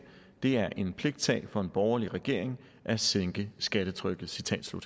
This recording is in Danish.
det er en pligtsag for en borgerlig regering at sænke skattetrykket